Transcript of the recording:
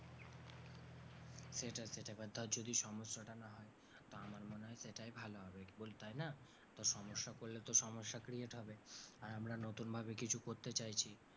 সেটাই সেটাই এবার ধর যদি সমস্যাটা না হয় তো আমার মনে হয় সেটাই ভালো হবে তাই না। তো সমস্যা করলে তো সমস্যা create হবে আর আমরা নতুন ভাবে কিছু করতে চাইছি।